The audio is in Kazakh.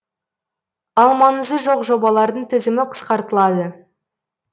ал маңызы жоқ жобалардың тізімі қысқартылады